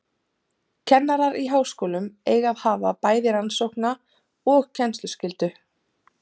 Kennarar í háskólum eiga að hafa bæði rannsókna- og kennsluskyldu.